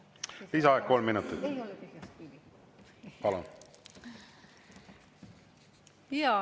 Lisaaeg kolm minutit, palun!